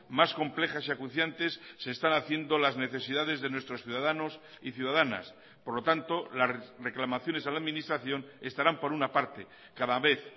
más complejas y acuciantes se están haciendo las necesidades de nuestros ciudadanos y ciudadanas por lo tanto las reclamaciones a la administración estarán por una parte cada vez